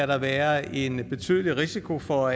der være en betydelig risiko for